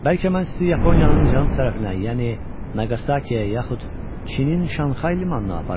Bəlkə mən sizi Yaponiyanın cənub tərəfinə, yəni Naqasakiyə yaxud Çinin Şanxay limanına aparım?